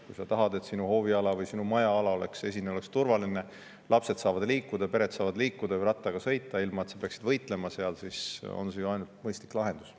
Kui sa tahad, et sinu hooviala või sinu majaesine oleks turvaline, lapsed saavad liikuda, pered saavad liikuda või rattaga sõita, ilma et peaksid võitlema seal, siis on see ju ainult mõistlik lahendus.